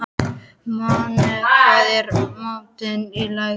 Máney, hvað er í matinn á laugardaginn?